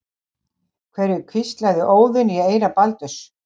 Hverju hvíslaði Óðinn í eyra Baldurs?